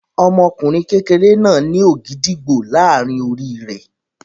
Ọmọkùnrin kékeré náà ní ògìdìgbó láàárin orí rẹ̀.